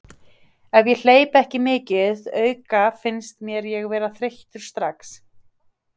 Ef ég hleyp ekki mikið auka finnst mér ég vera þreyttur strax.